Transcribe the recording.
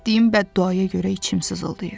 Etdiyim bədduaya görə içim sızıldayır.